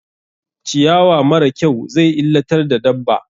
Ciyawa mara kyau zai illatar da dabba.